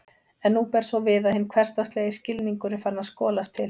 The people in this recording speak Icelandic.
En nú ber svo við að hinn hversdagslegi skilningur er farinn að skolast til.